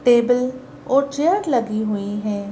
Table और chair लगी हुई है।